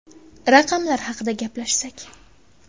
Raqamlar haqida gaplashsak.